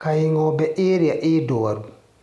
Kaĩ ngombe ĩrĩa ĩ ndwaru.